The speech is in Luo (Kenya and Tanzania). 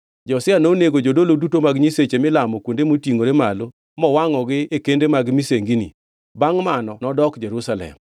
Josia nonego jodolo duto mag nyiseche milamo kuonde motingʼore gi malo mowangʼogi e kende mag misengini. Bangʼ mano nodok Jerusalem.